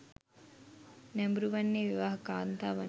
නැඹුරු වන්නේ විවාහක කාන්තාවන්ය.